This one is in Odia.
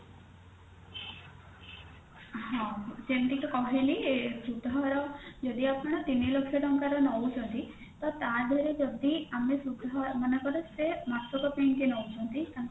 ହଁ ଯେମତି କି କହିଲି ସୁଧହାର ଯଦି ଆପଣ ତିନି ଲକ୍ଷ ଟଙ୍କାର ନଉଛନ୍ତି ତ ତା ଦେହରେ ଯଦି ଆମେ ସୁଧହାର ମନେକର ସେ ମାସକ ପାଇଁକି ନଉଛନ୍ତି